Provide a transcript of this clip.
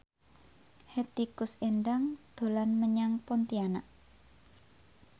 Hetty Koes Endang dolan menyang Pontianak